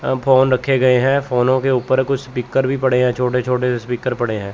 Phone रखे गए हैं। फ़ोन के ऊपर कुछ स्पीकर भी पड़े हैं छोटे छोटे से स्पीकर पड़े हैं।